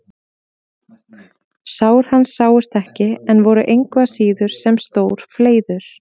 Sár hans sáust ekki en voru engu að síður sem stór fleiður.